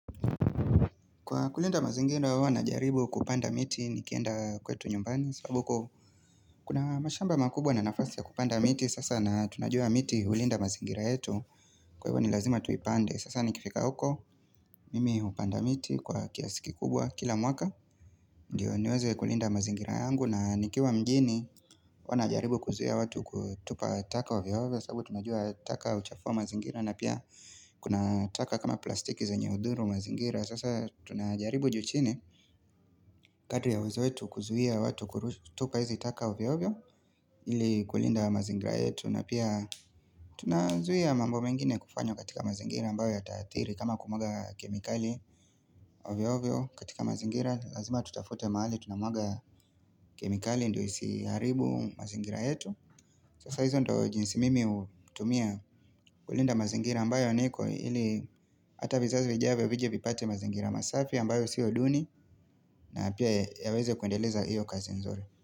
Kwa kulinda mazingira hua najaribu kupanda miti ni kienda kwetu nyumbani sababu huko kuna mashamba makubwa na nafasi ya kupanda miti sasa na tunajua miti hulinda mazingira yetu kwa hivyo ni lazima tuipande sasa nikifika huko mimi hupanda miti kwa kiasiki kubwa kila mwaka ndio niweze kulinda mazingira yangu na nikiwa mjini Hua najaribu kuzuia watu kutupa taka ovyo ovyo sababu tunajua taka huchafua mazingira na pia kuna taka kama plastiki zenye hudhuru mazingira Sasa tunajaribu juuchini kadri ya uwezo wetu kuzuia watu kurushtupa hizi taka ovyo ovyo ili kulinda mazingira yetu na pia tunazuia mambo mengine kufanywa katika mazingira ambayo yataathiri kama kumwaga kemikali ovyo ovyo katika mazingira Lazima tutafute mahali tunamwaga kemikali ndo isiharibu mazingira yetu Sasa hizo ndo jinsi mimi hutumia kulinda mazingira ambayo niko ili ata vizazi vijavyo vije vipate mazingira masafi ambayo sio duni na pia yaweze kuendeleza hio kazi nzuri.